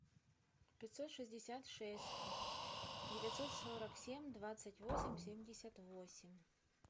пятьсот шестьдесят шесть девятьсот сорок семь двадцать восемь семьдесят восемь